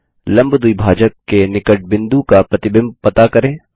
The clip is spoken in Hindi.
लम्ब द्विभाजक के निकट बिंदु का प्रतिबिंब पता करें